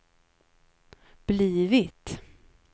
blivit